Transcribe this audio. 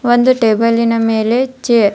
ಒಂದು ಟೇಬಲಿನ ಮೇಲೆ ಚೇರ್ --